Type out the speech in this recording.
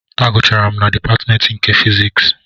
Agụcharụ m na dịpatmentị nke fiziks